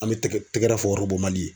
An be tɛgɛ tɛgɛrɛ fɔ orobomali ye